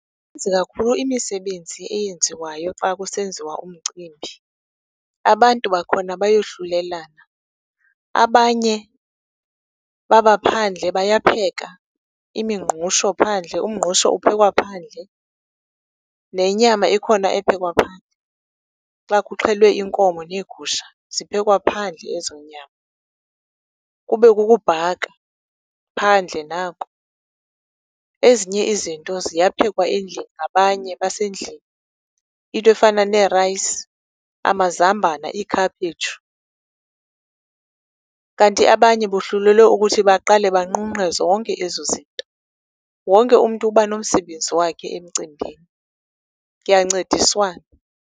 Kakhulu imisebenzi eyenziwayo xa kusenziwa umcimbi. Abantu bakhona bayohlulelana, abanye babaphandle, bayapheka imingqusho phandle. Umngqusho uphekwa phandle. Nenyama ikhona ephekwa phandle. Xa kuxhelwe inkomo neegusha, ziphekwa phandle ezoonyama. Kube kukubhaka, phandle nako. Ezinye izinto ziyaphekwa endlini ngabanye abasendlini, into efana nee-rice, amazambana, iikhaphetshu. Kanti abanye bohlulelwe ukuthi baqale banqunqe zonke ezo zinto. Wonke umntu uba nomsebenzi wakhe emcimbini, kuyancediswana.